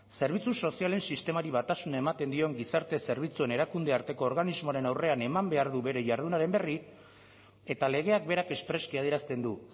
zerbitzu sozialen sistemari batasuna ematen dion gizarte zerbitzuen erakundearteko organismoaren aurrean eman behar du bere jardunaren berri eta legeak berak espreski adierazten du